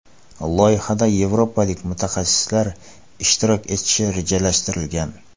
Loyihada yevropalik mutaxassislar ishtirok etishi rejalashtirilgan.